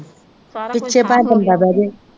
ਪਿੱਛੇ ਭਾਵੇ ਬੰਦਾ ਬਹਿ ਜਾਏ